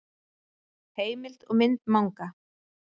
Heimild og mynd Manga.